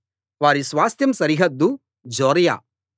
వారి స్వాస్థ్యం సరిహద్దు జొర్యా